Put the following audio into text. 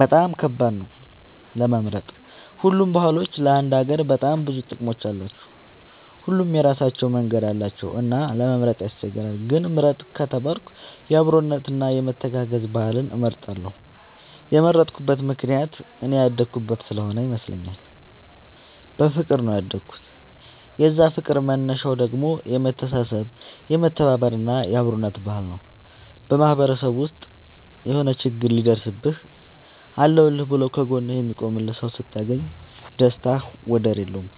በጣም ከባድ ነው ለመምረጥ ሁሉም ባህሎች ለአንድ ሀገር በጣም ብዙ ጥቅም አላቸው። ሁሉም የራሳቸው መንገድ አላቸው እና ለመምረጥ ያስቸግራል። ግን ምርጥ ከተባልኩ የአብሮነት እና የመተጋገዝ ባህልን እመርጣለሁ የመረጥኩት ምክንያት እኔ ያደኩበት ስሆነ ይመስለኛል። በፍቅር ነው ያደኩት የዛ ፍቅር መነሻው ደግሞ የመተሳሰብ የመተባበር እና የአብሮነት ባህል ነው። በማህበረሰብ ውስጥ የሆነ ችግር ሲደርስብህ አለሁልህ ብሎ ከ ጎንህ የሚቆምልህ ሰው ስታገኝ ደስታው ወደር የለውም።